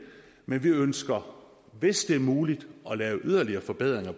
men vi ønsker hvis det er muligt at lave yderligere forbedringer